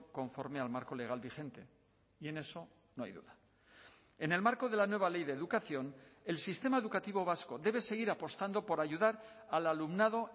conforme al marco legal vigente y en eso no hay duda en el marco de la nueva ley de educación el sistema educativo vasco debe seguir apostando por ayudar al alumnado